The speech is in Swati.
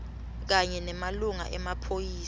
kanye nemalunga emaphoyisa